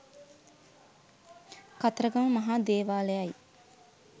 කතරගම මහා දේවාලයයි.